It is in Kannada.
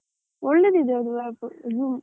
ಒಳ್ಳೆದಿದೆ, ಅದು app Zoom .